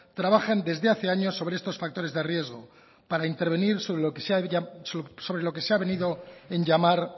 trabajan desde hace años sobre estos factores de riesgo para intervenir sobre lo que se ha venido en llamar